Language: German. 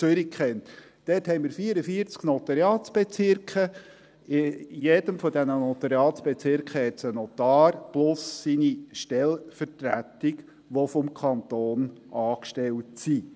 Dort haben wir 44 Notariatsbezirke, in jedem dieser Notariatsbezirke gibt es einen Notar plus seine Stellvertretung, die vom Kanton angestellt sind.